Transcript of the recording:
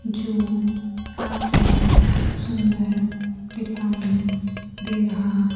जो काफी सुंदर दिखाई दे रहा --